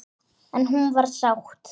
En hún var sátt.